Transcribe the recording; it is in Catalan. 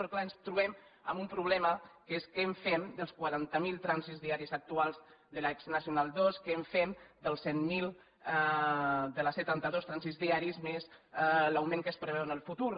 però clar ens trobem amb un problema que és què en fem dels quaranta miler trànsits diaris actuals de l’exnacional ii què en fem dels cent mil de la c trenta dos trànsits diaris més l’augment que es preveu en el futur